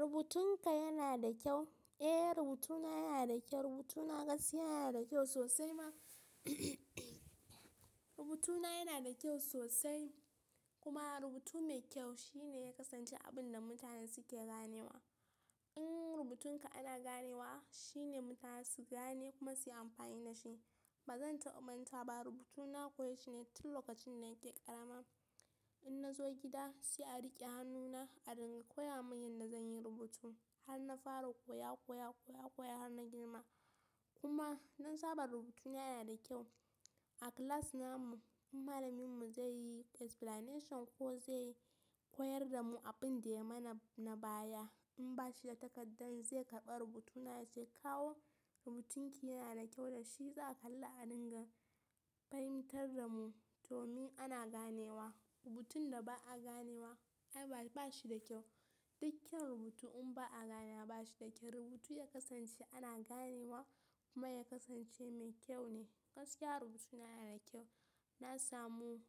Rubutunka yana da kyau? Eh, rubutuna yana da kyau. Rubutuna gaskiya yana da kyau sosai ma. Rubutuna yana da kyau sosai kuma rubutu mai kyau shi ne ya kasance abin da mutane suke ganewa. In rubutunka ana ganewa shine mutane su gane kuma suyi amfani da shi. Ba zan tabamanta ba rubutuna koyacine tin lokacin da nake ƙarama. In nazo gida se a rike hannuna a dinga koya mun yanda zan yi rubutu. Har na fara koya, koya, koya, koya har na girma. Kuma mun saba rubutuna yana da kyau. A class namu in malaminmu zai yi explanation ko zai koyar da mu abin da ya mana na baya in bashi da takardar zai karɓi rubutuna ya ce kawo rubutunki yana da kyau da shi za kalla a dinga fahimtar da mu domin ana ganewa. Rubutun da ba'a ganewa ai bashi da kyau. Dukkan rubutu in ba'a gani bashi da kyau. Rubutu ya kasance ana ganewa kuma ya kasance mai kyau ne. Gaskiya rubutuna yana da kyau. Na samu